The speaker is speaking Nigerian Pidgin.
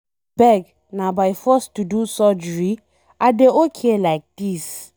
Abeg, na by force to do surgery? I dey okay like dis.